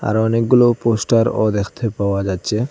আর অনেকগুলো পোস্টারও দেখতে পাওয়া যাচ্ছে।